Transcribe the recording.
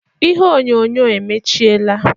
Ihe onyonyo emechiela